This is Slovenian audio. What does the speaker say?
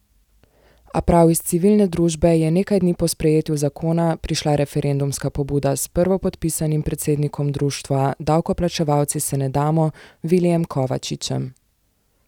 A prav iz civilne družbe je nekaj dni po sprejetju zakonu prišla referendumska pobuda s prvopodpisanim predsednikom društva Davkoplačevalci se ne damo Vilijem Kovačičem.